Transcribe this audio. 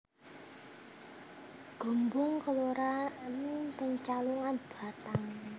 Gombong kelurahan ing Pecalungan Batang